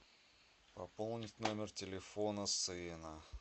пополнить номер телефона сына